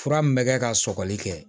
Fura min bɛ kɛ ka sɔgɔli kɛ